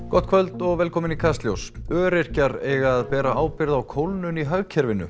gott kvöld og velkomin í Kastljós öryrkjar eiga að bera ábyrgð á kólnun í hagkerfinu